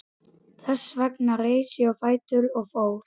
Þess vegna reis ég á fætur og fór.